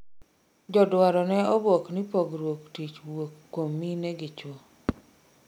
joduaro ne obuok ni pogruok tich wuok koum mine gi chuo